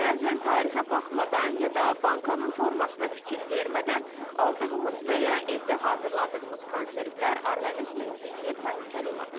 Bəzən tarixə baxmadan ya da bankanın formasına fikir vermədən aldığımız və ya evdə hazırladığımız konservlər orqanizmimiz üçün təhlükəli ola bilər.